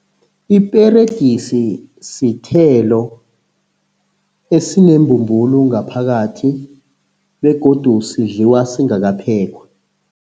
Iperegisi sithelo esinembumbulu ngaphakathi begodu sidliwa singakaphekwa.